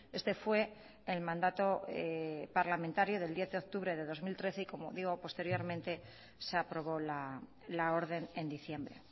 este fue el mandato parlamentario del diez de octubre de dos mil trece y como digo posteriormente se aprobó la orden en diciembre